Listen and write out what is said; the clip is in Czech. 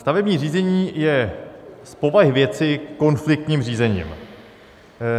Stavební řízení je z povahy věci konfliktním řízením.